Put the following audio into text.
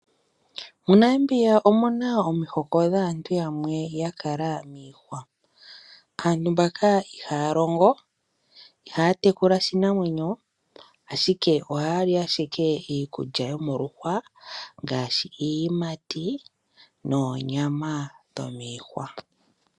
MoNamibia omuna omihoko dhaantu yamwe ya kala miihwa. Aantu mbaka ihaya longo, ihaya tekula oshinamwenyo ashike ohaya li ashike iikulya yomoluhwa ngaashi iiyimati noonyama dhomiihwa.